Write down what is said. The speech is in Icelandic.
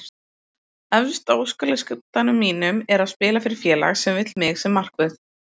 Efst á óskalistanum mínum er að spila fyrir félag sem vill mig sem markvörð þeirra.